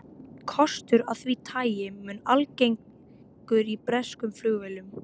Kostur af því tagi mun algengur í breskum flugvélum.